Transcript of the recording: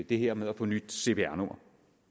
det her med at få nyt cpr nummer